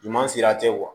Ɲuman sira tɛ